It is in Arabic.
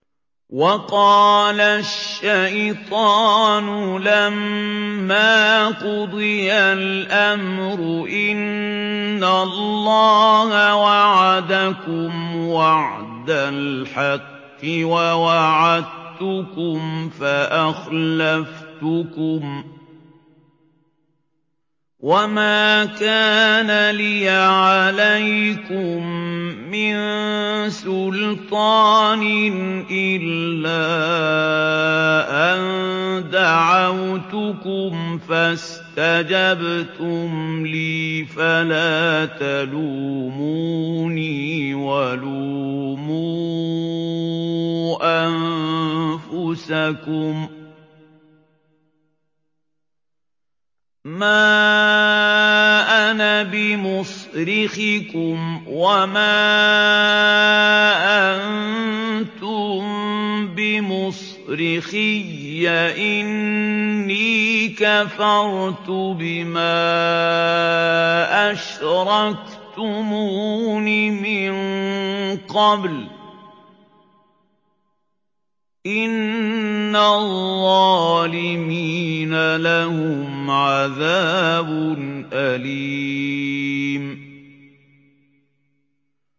وَقَالَ الشَّيْطَانُ لَمَّا قُضِيَ الْأَمْرُ إِنَّ اللَّهَ وَعَدَكُمْ وَعْدَ الْحَقِّ وَوَعَدتُّكُمْ فَأَخْلَفْتُكُمْ ۖ وَمَا كَانَ لِيَ عَلَيْكُم مِّن سُلْطَانٍ إِلَّا أَن دَعَوْتُكُمْ فَاسْتَجَبْتُمْ لِي ۖ فَلَا تَلُومُونِي وَلُومُوا أَنفُسَكُم ۖ مَّا أَنَا بِمُصْرِخِكُمْ وَمَا أَنتُم بِمُصْرِخِيَّ ۖ إِنِّي كَفَرْتُ بِمَا أَشْرَكْتُمُونِ مِن قَبْلُ ۗ إِنَّ الظَّالِمِينَ لَهُمْ عَذَابٌ أَلِيمٌ